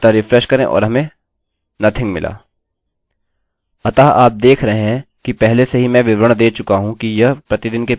अतः आप देख रहे है कि पहले से ही मैं विवरण दे चुका हूँ कि यह प्रतिदिन के php प्रयोग में कितने उपयोगी हो सकते हैं